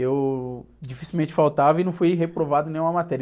Eu dificilmente faltava e não fui reprovado em nenhuma matéria.